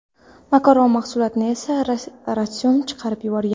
Makaron mahsulotini esa ratsionidan chiqarib yuborgan.